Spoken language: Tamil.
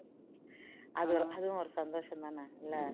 அதுவும் அதுவும் ஒரு சந்தோஷம் தானே இல்ல